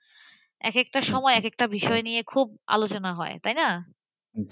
একেকটা টার সময় একেকটা বিষয় নিয়ে খুব আলোচনা হয় তাইনা?